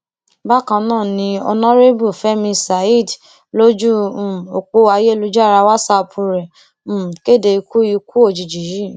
bákan náà ni ọnàrẹbù fẹmi saheed lójú um ọpọ ayélujára wàsáàpù rẹ um kéde ikú ikú òjijì yìí